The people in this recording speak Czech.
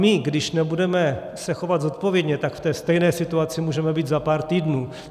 My, když nebudeme se chovat zodpovědně, tak v té stejné situaci můžeme být za pár týdnů.